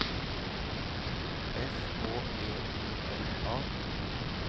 S H E I L A